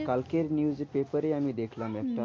কালকের news paper আমি দেখলাম একটা